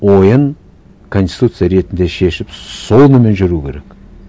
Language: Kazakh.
ойын конституция ретінде шешіп сонымен жүру керек